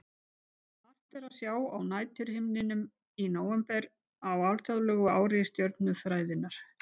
Margt er að sjá á næturhimninum í nóvember á alþjóðlegu ári stjörnufræðinnar.